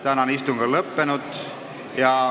Tänane istung on lõppenud.